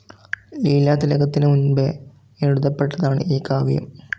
ലീലാതിലകത്തിനു മുൻപേ എഴുതപ്പെട്ടതാണ് ഈ കാവ്യം.